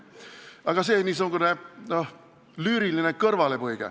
Aga see oli niisugune lüüriline kõrvalepõige.